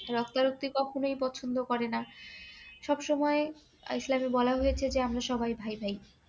রক্তা রক্তি কখনই পছন্দ করে না সব সময় ইসলামে বলা হয়েছে যে আমরা সবাই ভাই ভাই